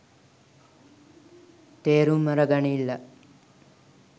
තේරුම් අර ගනිල්ලා